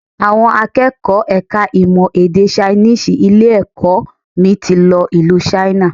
Àwọn akẹ́kọ̀ọ́ ẹ̀ka ìmọ̀ èdè Chinese ilé-ẹ̀kọ́ mi ti lọ ìlú China